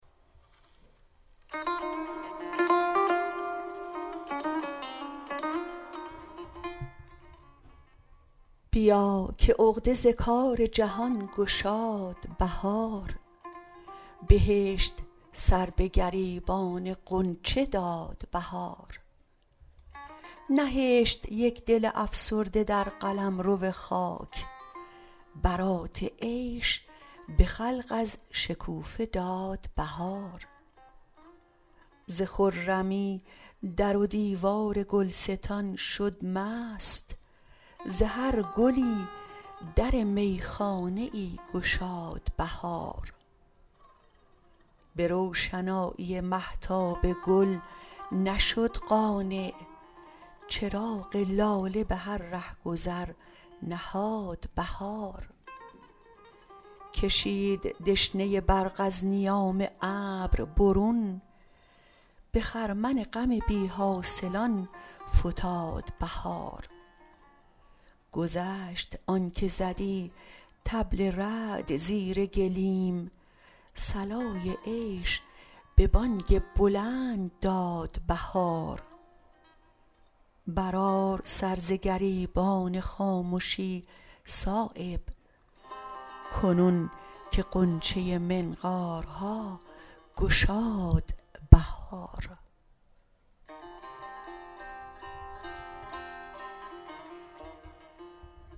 بیاکه عقده زکارجهان گشاد بهار بهشت سربه گریبان غنچه دادبهار نهشت یک دل افسرده درقلمروخاک برات عیش به خلق ازشکوفه دادبهار زخرمی درودیوارگلستان شدمست زهرگلی درمیخانه ای گشاد بهار به روشنایی مهتاب گل نشد قانع چراغ لاله به هر رهگذرنهاد بهار کشید دشنه برق ازنیان ابر برون به خرمن غم بی حاصلان فتادبهار گشت آنکه زدی طبل رعد زیرگلیم صلای عیش به بانگ بلند داد بهار برآر سرزگریبان خامشی صایب کنون که غنچه منقارها گشاد بهار